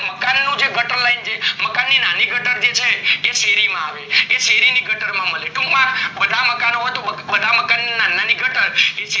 મકાન નું જે ગટર line જે મકાન ની નાની ગટર છે એ શેરી માં આવે એ શેરી ની ગટર માં મળી ટુક માં બધા મકાનો બધા મકાન ના નાની ગટર